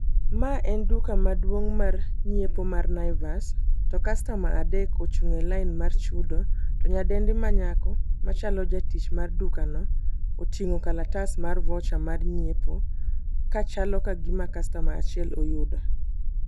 Mae en duka maduong' mar nyiepo mar Naivas to customers adek mochung' e lain mar chudo, to nyadendi manyako machalo jatich mar dukano oting'o kalatas mar voucher mar nyiepo kachalo kagima customer achiel oyudo.